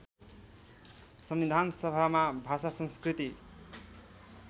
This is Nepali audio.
संविधानसभामा भाषा संस्कृति